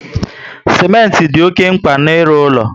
Simenti dị oké mkpa n'ilu ulo